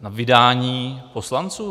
Na vydání poslanců?